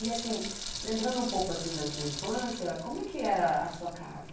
E, assim, lembrando um pouco assim da sua infância, como é que era a sua casa?